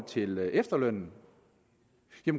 til efterlønnen